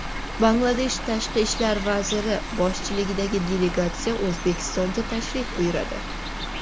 Bangladesh tashqi ishlar vaziri boshchiligidagi delegatsiya O‘zbekistonga tashrif buyuradi.